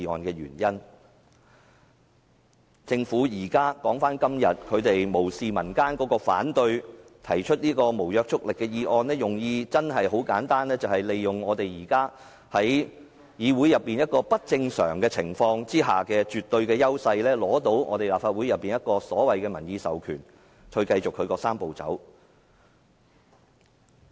說回政府今天無視民間的反對提出的這項無約束力議案，其用意真的很簡單，便是利用他們因現時議會內出現不正常的情況而取得的絕對優勢，從而得到立法會的"民意授權"，繼續推展"三步走"。